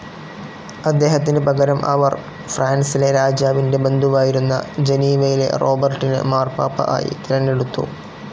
അദ്ദേഹത്തിന് പകരം അവർ, ഫ്രാൻസിലെ രാജാവിൻ്റെ ബന്ധുവായിരുന്ന ജനീവയിലെ റോബർട്ടിനെ മാർപാപ്പ ആയി തിരഞ്ഞെടുത്തു.